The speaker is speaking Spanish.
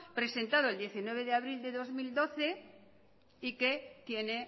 presentado el diecinueve de abril de dos mil doce y que tiene